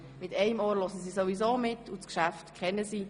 Mit einem Ohr hören sie sowieso mit, und das Geschäft kennen sie.